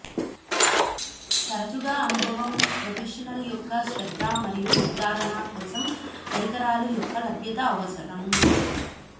తరచుగా అనుభవం ప్రొఫెషనల్ యొక్క శ్రద్ధ మరియు నిర్ధారణ కోసం పరికరాలు యొక్క లభ్యత అవసరం